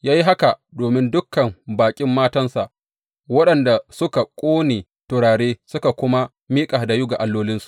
Ya yi haka domin dukan baƙin matansa, waɗanda suka ƙone turare suka kuma miƙa hadayu ga allolinsu.